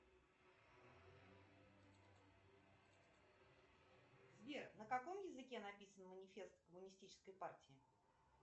сбер на каком языке написан манифест коммунистической партии